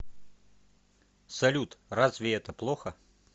салют разве это плохо